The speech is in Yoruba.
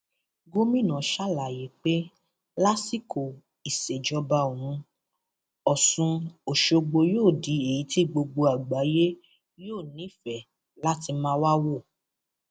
gomina ṣàlàyé pé lásìkò ìsejọba òun ọsùn ọṣọgbó yóò di èyí tí gbogbo àgbáyé yóò nífẹẹ láti máa wáá wò